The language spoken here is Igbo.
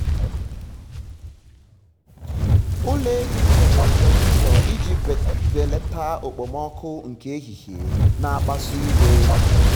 ụlọ ehi m nwere ventụlọ iji belata okpomọkụ nke ehihie na-akpasu iwe.